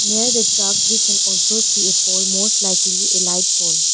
Near the truck we can also see foremost likely elite pole.